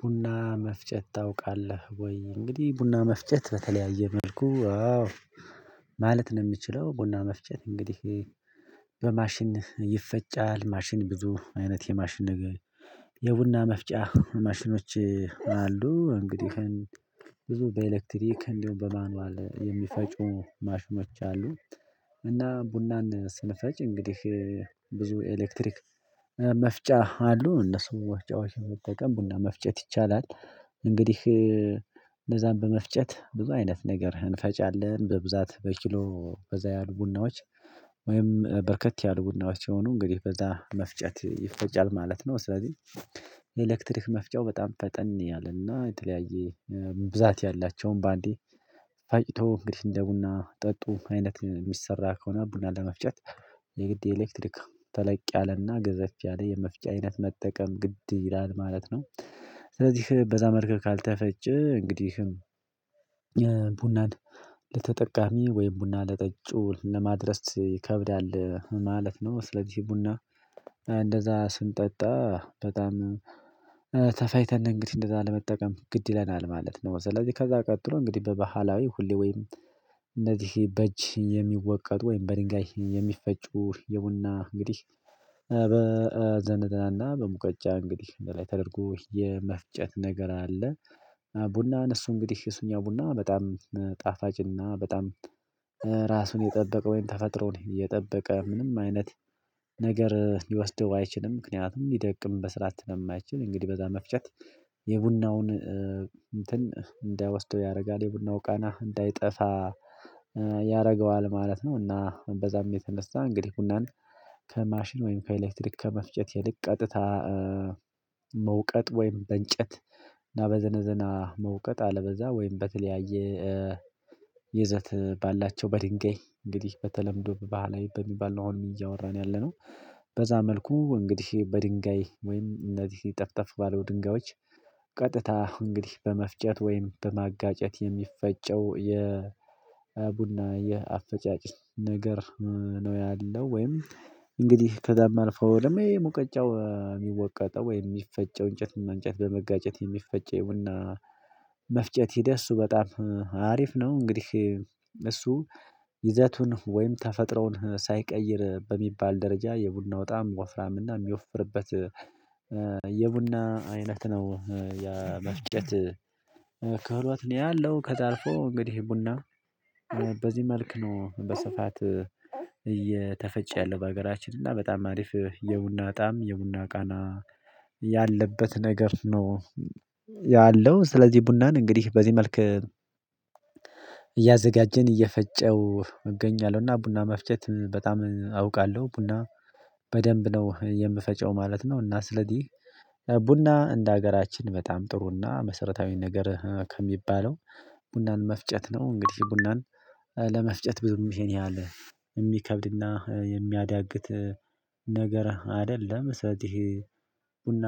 ቡና መፍጨት ታውቃለህ ወይ? እንግዲህ ቡና መፍጨት በተለያየ መልኩ ማለት ነው የምችለው። ቡና መፍጨት እንግዲህ በማሽን ይፈጫል። ማሽን ብዙ አይነት የማሽን ነገር የቡና መፍጫ ማሽኖች አሉ። እንግዲህ ብዙ በኤሌክትሪክ እንደውም በማኑዋል የሚፈጩ ማሽኖች አሉ። እና ቡናን ስንፈጭ እንግዲህ ብዙ ኤሌክትሪክ መፍጫ አሉ እነሱን መፍጫዎች በመጠቀም ቡና መፍጨት ይቻላል። እንግዲህ እንደዛም በመፍጨት ብዙ አይነት ነገር እንፈጫለን በብዛት በኪሎ በዛ ያሉ ቡናዎች ወይም በርከት ያሉ ቡናዎች የሆኑ እንግዲህ በዛ መፍጨት ይፈጫል ማለት ነው። ስለዚህ የኤሌክትሪክ መፍጫው በጣም ፈጠን ያለና የተለያየ ብዛት ያላቸውን በአንዴ ፋቂቶ እንግዲህ እንደ ቡና ጠጡ አይነት የሚሰራ ከሆነ ቡና ለመፍጨት። የግድ የኤሌክትሪክ ተለቅ ያለና ገዘፍ ያለ የመፍጫ አይነት መጠቀም ግድ ይላል ማለት ነው። ስለዚህ በዛ መልክ ካልተፈጨ እንግዲህም ቡናን ለተጠቃሚ ወይም ቡና ለጠጩ ለማድረስ ይከብዳል ማለት ነው። ስለዚህ ቡና እንደዛ ስንጠጣ በጣም ተፋይተን እንግዲህ እንደዛ ለመጠቀም ግድ ይለናል ማለት ነው። ስለዚህ ከዛ ቀጥሎ እንግዲህ በባህላዊ ሁሌ ወይም እነዚህ በእጅ የሚወቀጡ ወይም በድንጋይ የሚፈጩ የቡና እንግዲህ በዘነዘና እና በሙቀጫ እንግዲህ ላይ ተደርጎ የመፍጨት ነገር አለ። ቡናን እሱ እንግዲህ እሱኛ ቡና በጣም ጣፋጭና በጣም ራሱን የጠበቀ ተፈጥሮን የጠበቀ ምንም አይነት ነገር ሊወስደው አይችልም ምክንያቱም ሊደቅም በስርዓት ነው የማይችል እንግዲህ በዛ መፍጨት የቡናውን እንትን እንዳይወስደው ያደርጋል የቡናው ቃና እንዳይጠፋ ያደርገዋል ማለት ነው። እና በዛም የተነሳ እንግዲህ ቡናን ከማሽን ወይም ከኤሌክትሪክ ከመፍጨት ይልቅ ቀጥታ መውቀጥ ወይም በእንጨት እና በዘነዘና መውቀጥ አለበለዚያ ወይም በተለያየ ይዘት ባላቸው በድንጋይ እንግዲህ በተለምዶ በባህላዊ በሚባል ነው። አሁን እያወራን ያለነው በዛ መልኩ እንግዲህ በድንጋይ ወይም እነዚህ ጠፍጠፍ ባሉ ድንጋዮች ቀጥታ እንግዲህ በመፍጨት ወይም በማጋጨት የሚፈጨው የ ቡና የአፈጫጭ ነገር ነው። ያለው ወይም እንግዲህ ከዛም አልፈው ደግሞ ይሄ ሙቀጫው የሚወቀጠው ወይም የሚፈጨው እንጨት እና እንጨት በመጋጨት የሚፈጨውና መፍጨት ሂደት እሱ በጣም አሪፍ ነው። እንግዲህ እሱ ይዘቱን ወይም ተፈጥረውን ሳይቀይር በሚባል ደረጃ የቡናው ጣዕም ወፍራም እና የሚወፍርበት የቡና አይነት ነው ያ መፍጨት ክህሎት ነው ያለው። ከዛ አልፎ እንግዲህ ቡና በዚህ መልክ ነው በስፋት እየተፈጨ ያለሁ በሀገራችን እና በጣም አሪፍ የቡና ጣዕም የቡና ቃና ያለበት ነገር ነው። ያለው ስለዚህ ቡናን እንግዲህ በዚህ መልክ እያዘጋጀን እየፈጨው እገኛለሁና ቡና መፍጨት በጣም አውቃለሁ ቡና በደንብ ነው የምፈጨው ማለት ነው። እና ስለዚህ ቡና እንደ ሀገራችን በጣም ጥሩና መሰረታዊ ነገር ከሚባለው ቡናን መፍጨት ነው። እንግዲህ ቡናን ለመፍጨት ብዙም ይሄን ያህል የሚከብድና የሚያዳግት ነገር አይደለም። ስለዚህ ቡና